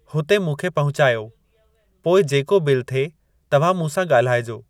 हुते मूंखे पहुचायो, पोइ जेको बिल थिए तव्हां मूंसां ॻाल्हाइजो।